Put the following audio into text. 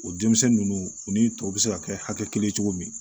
O denmisɛnnin ninnu u ni tɔw bɛ se ka kɛ hakɛ kelen ye cogo min